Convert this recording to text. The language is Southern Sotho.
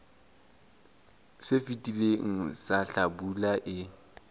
se fetileng sa hlabula e